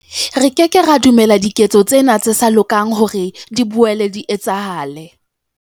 Re ke ke ra dumella diketso tsena tse sa lokang hore di boele di etsahale.